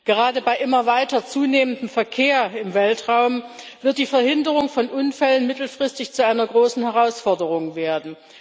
Gerade bei immer weiter zunehmendem Verkehr im Weltraum wird die Verhinderung von Unfällen mittelfristig zu einer großen Herausforderung werden.